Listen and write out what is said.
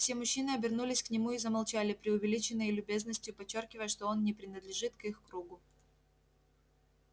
все мужчины обернулись к нему и замолчали преувеличенной любезностью подчёркивая что он не принадлежит к их кругу